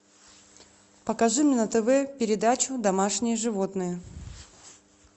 покажи мне на тв передачу домашние животные